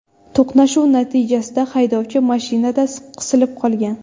To‘qnashuv natijasida haydovchi mashinada qisilib qolgan.